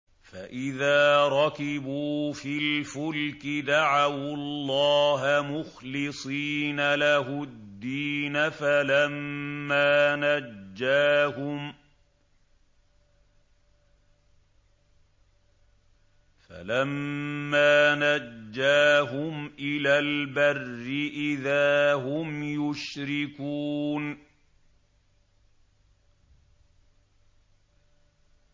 فَإِذَا رَكِبُوا فِي الْفُلْكِ دَعَوُا اللَّهَ مُخْلِصِينَ لَهُ الدِّينَ فَلَمَّا نَجَّاهُمْ إِلَى الْبَرِّ إِذَا هُمْ يُشْرِكُونَ